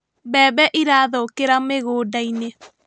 Mbembe irathũkĩra mĩgũnda-inĩ